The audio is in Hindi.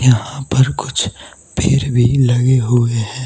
यहां पर कुछ पेड़ भी लगे हुए हैं।